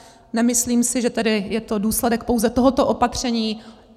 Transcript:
Nemyslím si tedy, že je to důsledek pouze tohoto opatření.